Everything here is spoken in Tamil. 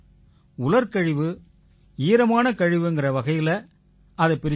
உலர்கழிவு ஈரமான கழிவுங்கற வகையில அதைப் பிரிச்சிருங்க